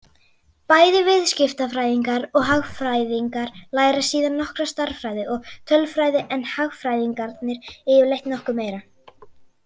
Bæði viðskiptafræðingar og hagfræðingar læra síðan nokkra stærðfræði og tölfræði en hagfræðingarnir yfirleitt nokkuð meira.